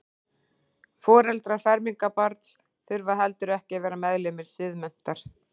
Foreldrar fermingarbarns þurfa heldur ekki að vera meðlimir Siðmenntar.